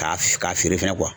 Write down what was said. K'a feere fɛnɛ